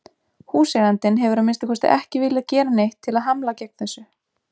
Húseigandinn hefur að minnsta kosti ekki viljað gera neitt til að hamla gegn þessu.